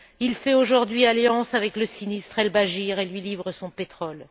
Il fait aujourd'hui alliance avec le sinistre Al Bachir et lui livre son pétrole.